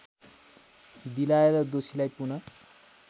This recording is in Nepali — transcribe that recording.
दिलाएर दोषीलाई पुन